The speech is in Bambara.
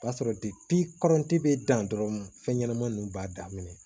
O b'a sɔrɔ bɛ dan dɔrɔn fɛn ɲɛnama ninnu b'a daminɛ